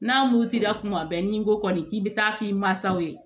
N'a m'u di la kuma bɛɛ n'i ko kɔni k'i bɛ taa f'i masaw ye